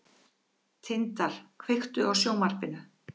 Tindar, kveiktu á sjónvarpinu.